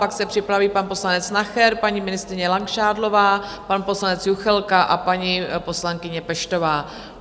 Pak se připraví pan poslanec Nacher, paní ministryně Langšádlová, pan poslanec Juchelka a paní poslankyně Peštová.